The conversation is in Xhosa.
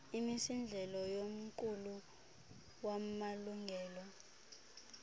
imisindleko yomqulu wamalungelo